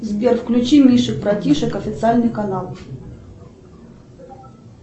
сбер включи мишек братишек официальный канал